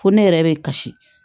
Ko ne yɛrɛ bɛ kasi